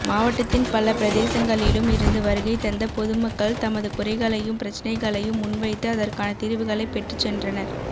மாவட்டத்தின் பல பிரதேசங்களிலும் இருந்து வருகைதந்த பொதுமக்கள் தமது குறைகளையும் பிரச்சினைகளையும் முன்வைத்து அதற்கான தீர்வுகளைப் பெற்றுச் சென்றனர்